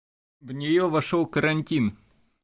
в неё вошёл карантин